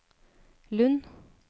Lund